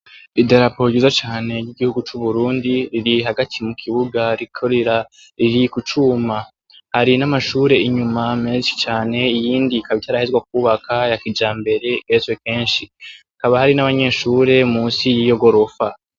Idarapo ryiza cane ryigihugu cu Burundi riri hagati mu kibuga rikorera riri kucuma, hari n'amashure inyuma menshi cane iyindi ikaba itarahezwa kubaka ya kijambere igeretswe kenshi hakaba hari n'abanyeshure munsi yiyo gorofa.